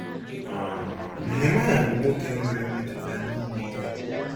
um Nehemaya bụ nwoke nwere mmetụta na ime ihe.